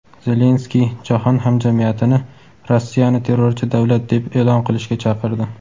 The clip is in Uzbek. Zelenskiy jahon hamjamiyatini Rossiyani "terrorchi davlat" deb e’lon qilishga chaqirdi.